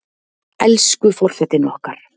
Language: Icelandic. Elsku forsetinn okkar!